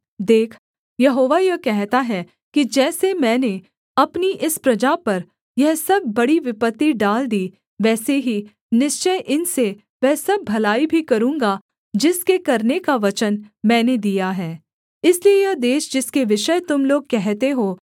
देख यहोवा यह कहता है कि जैसे मैंने अपनी इस प्रजा पर यह सब बड़ी विपत्ति डाल दी वैसे ही निश्चय इनसे वह सब भलाई भी करूँगा जिसके करने का वचन मैंने दिया है इसलिए यह देश जिसके विषय तुम लोग कहते हो